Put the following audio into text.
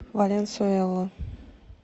валенсуэла